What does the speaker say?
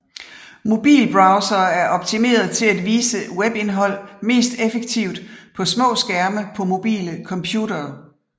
Mobilbrowsere er optimerede til at vise webindhold mest effektivt på små skærme på mobile computere